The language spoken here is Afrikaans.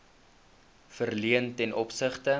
verleen ten opsigte